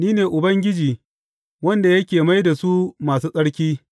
Ni ne Ubangiji wanda yake mai da su masu tsarki.’